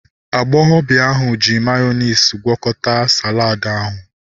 Agbọghọbịa ahu ji mayonezi gwakọta saladi ahu